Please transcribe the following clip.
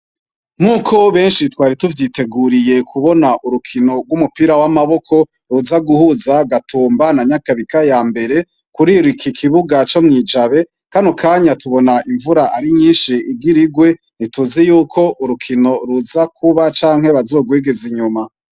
Nk'uko benshi twari tuvyiteguriye kubona urukino rw'umupira w'amaboko ruza guhuza Gatumba na Nyakabika ya mbere kuri iki kibuga co mw'ijabe kandi mukanya tubona imvura ari nyinshi igirigwe ntituzi yuko urukino ruza kuba canke bazogwegeza inyuma.